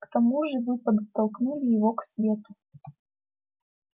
к тому же вы подтолкнули его к свету